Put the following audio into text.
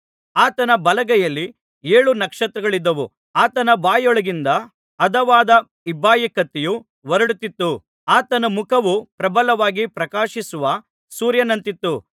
ಆತನ ಬಲಗೈಯಲ್ಲಿ ಏಳು ನಕ್ಷತ್ರಗಳಿದ್ದವು ಆತನ ಬಾಯೊಳಗಿಂದ ಹದವಾದ ಇಬ್ಬಾಯಿ ಕತ್ತಿಯು ಹೊರಡುತ್ತಿತ್ತು ಆತನ ಮುಖವು ಪ್ರಬಲವಾಗಿ ಪ್ರಕಾಶಿಸುವ ಸೂರ್ಯನಂತಿತ್ತು